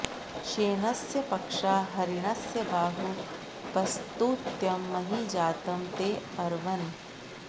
श्ये॒नस्य॑ प॒क्षा ह॑रि॒णस्य॑ बा॒हू उ॑प॒स्तुत्यं॒ महि॑ जा॒तं ते॑ अर्वन्